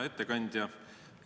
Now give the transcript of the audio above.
Hea ettekandja!